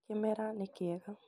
Kĩmera nĩ kĩega